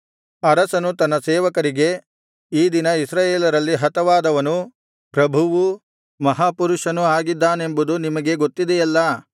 ಅರಸನು ತನ್ನ ಸೇವಕರಿಗೆ ಈ ದಿನ ಇಸ್ರಾಯೇಲರಲ್ಲಿ ಹತವಾದವನು ಪ್ರಭುವೂ ಮಹಾಪುರುಷನೂ ಆಗಿದ್ದಾನೆಂಬುದು ನಿಮಗೆ ಗೊತ್ತಿದೆಯಲ್ಲಾ